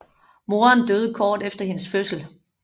Moren døde kort efter hendes fødsel